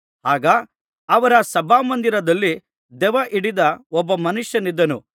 ಆಗ ಅವರ ಸಭಾಮಂದಿರದಲ್ಲಿ ದೆವ್ವಹಿಡಿದ ಒಬ್ಬ ಮನುಷ್ಯನಿದ್ದನು